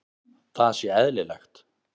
Það sé eðlilegt.